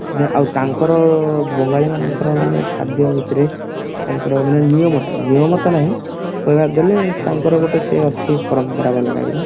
ଆଉ ତାଙ୍କର ବଙ୍ଗାଳୀ ମାନଙ୍କର ମାନେ ଖାଦ୍ଯ ଭିତରେ ତାଙ୍କର ମାନେ ନିୟମ ଥାଏ ନିୟମ ତ ନାହିଁ କହିବାକୁ ଗଲେ ତାଙ୍କର ଗୋଟେ ସେ ଅଛି ପରମ୍ପରା type ର